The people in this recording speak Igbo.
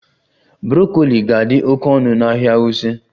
Broccoli ga-adị oke ọnụ n'ahịa Wuse